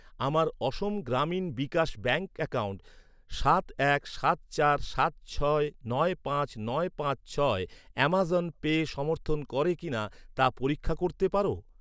আমার Assam Gramin Vikash bank account সাত এক সাত চার সাত ছয় নয় পাঁচ নয় পাঁচ ছয় আমাজন পে সমর্থন করে কিনা তা পরীক্ষা করতে পার?